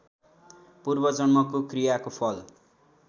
पूर्वजन्मको क्रियाको फल